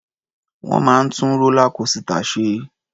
Wọ́n máa ń tú rólá kósità ṣe.